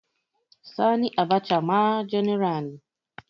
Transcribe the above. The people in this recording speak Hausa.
Sani Abacha ma janar ne